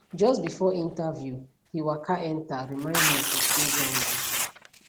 just before interview he waka enter remind me to stay grounded